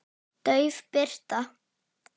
Dauf birta.